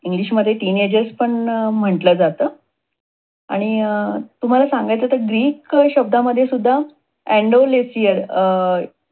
English मध्ये TeenAge पण म्हटल जात. आणि तुम्हाला सांगायचं तर ग्रीक शब्द मध्ये सुद्धा Andolesia